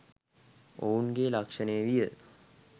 ඔවුන්ගේ ලක්ෂණය විය.